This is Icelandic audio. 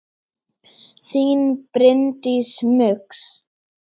Þín Bryndís Muggs.